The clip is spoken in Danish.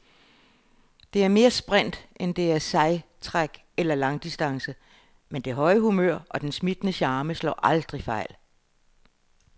Det er mere sprint, end det er sejtræk eller langdistance, men det høje humør og den smittende charme slår aldrig fejl.